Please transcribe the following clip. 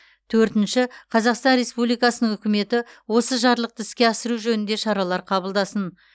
төртінші қазақстан республикасының үкіметі осы жарлықты іске асыру жөнінде шаралар кабылдасын